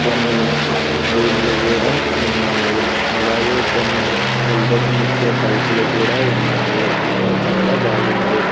కొన్ని క్రీములు కూడా ఉన్నాయి అలాగే కొన్ని వెలుతురుని ఇచ్చే బల్బులు కూడా ఉన్నాయి ఇక్కడ చాలా బాగుంది.